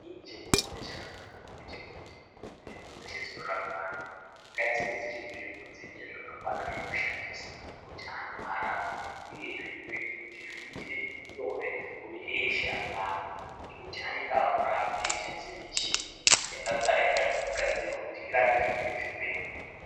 Inini chandinoona chakanaka ngechekuti nzvimbo dzese dzinorapwa antu ngadzive dziri nzvimbo dzine zvakakwana zvekushandisa kuti antu arapwe uyezve zvinoite nyore kune eshe anorapa ngekuti anenge akurapa eishandisa michini yakagara yakagadzirwa kuti irape zvimweni zvirwere.